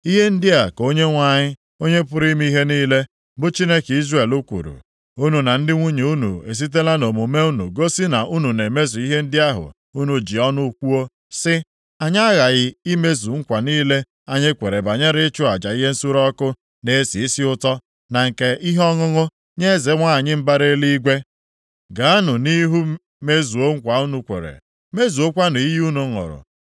Ihe ndị a ka Onyenwe anyị, Onye pụrụ ime ihe niile, bụ Chineke Izrel kwuru, Unu na ndị nwunye unu esitela nʼomume unu gosi na unu na-emezu ihe ndị ahụ unu ji ọnụ kwuo sị, ‘Anyị aghaghị imezu nkwa niile anyị kwere banyere ịchụ aja ihe nsure ọkụ na-esi isi ụtọ na nke ihe ọṅụṅụ nye Eze nwanyị mbara Eluigwe.’ “Gaanụ nʼihu mezuo nkwa unu kwere! Mezuokwanụ iyi unu ṅụrụ.